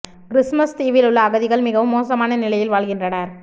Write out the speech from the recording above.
Christmas தீவில் உள்ள அகதிகள் மிகவும் மோசமான நிலையில் வாழ்கின்றனர்